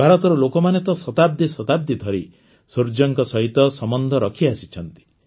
ଭାରତର ଲୋକମାନେ ତ ଶତାବ୍ଦୀ ଶତାବ୍ଦୀ ଧରି ସୂର୍ଯ୍ୟଙ୍କ ସହିତ ସମ୍ବନ୍ଧ ରଖିଆସିଛନ୍ତି